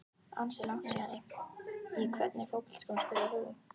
Ansi langt síðan Í hvernig fótboltaskóm spilar þú?